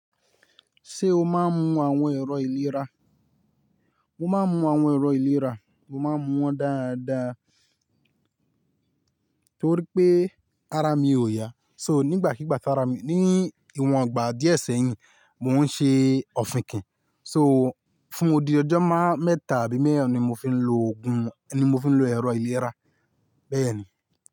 Ṣé o máa ń mu àwọn ẹ̀rọ ìlera? Mo máa ń mu àwọn ẹ̀rọ ìlera, mo máa ń mu wọn dáadáa torí pé ara mi ò ya. So nígbàkigbà tára mi, ní ìwòn ọgbà díẹ̀ sẹ́yìn, mò ń ṣe òfin kìn. So fún odi ọjọ́ máa mẹ́ta àbí mẹ́ẹ̀rin ni mo fi ń lo òògùn, ni mo fi ń lo ẹ̀rọ ìlera bẹ́ẹ̀ni.